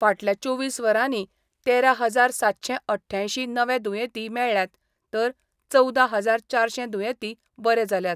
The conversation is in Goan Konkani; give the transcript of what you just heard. फाटल्या चोवीस वरांनी तेरा हजार सातशे अठ्ठ्यांयशीं नवे दुयेंती मेळ्ळ्यात तर चवदा हजार चारशे दुयेंती बरे जाल्यात.